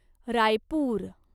Raipur